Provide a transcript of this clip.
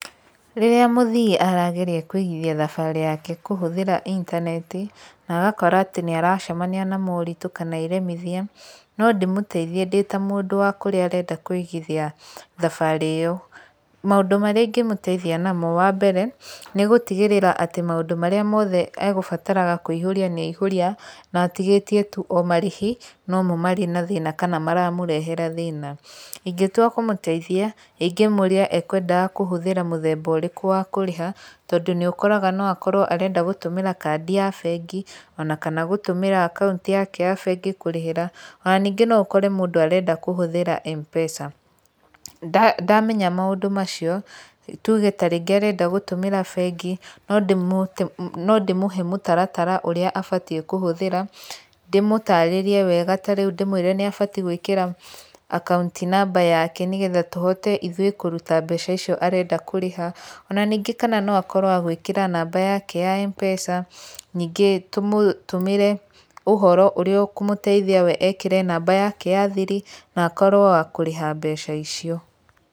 Rĩrĩa mũthii arageria kũigithia thabarĩ yake kũhũthĩra intaneti, na agakora atĩ nĩ aracemania na moritũ kana iremithia, no ndĩmũteithie ndĩ ta mũndũ wa kũrĩa arenda kũigithia thabarĩ ĩyo. Maũndũ marĩa ingĩmũteithia namo wa mbere, nĩ gũtigĩrĩra atĩ maũndũ marĩa mothe egũbataraga kũihũria nĩ aihũria na atigĩtie tu o marĩhi nomo marĩ na thĩna kana maramũrehera thĩna. Ingĩtua kũmũteithia, ingĩmũria ekwendaga kũhũthĩra mũthemba ũrĩkũ wa kũrĩha, tondũ nĩ ũkoraga no akorwo arenda gũtũmĩra kandi ya bengi, ona kana gũtũmĩra akaunti yake ya bengi kũrĩhĩra, ona ningĩ no ũkore mũndũ arenda kũhũthĩra M-pesa. Ndamenya maũndũ macio, tuge tarĩngĩ arenda gũtũmĩra bengi, no no ndĩmũhe mũtaratara ũrĩa abatiĩ kũhũthĩra, ndĩmũtarĩrie wega ta rĩu ndĩmwĩre nĩ abatiĩ gwĩkĩra akaunti namba yake nĩ getha tũhote ithuĩ kũruta mbeca icio arenda kũrĩha. Ona ningĩ kana no akorwo agwĩkĩra namba yake ya M-pesa, nyingĩ tũmũtũmĩre ũhoro ũrĩa ũkũmũteithia we ekĩre namba yake ya thiri na akorwo wa kũrĩha mbeca icio.